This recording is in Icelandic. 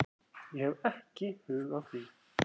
Ég hef ekki hug á því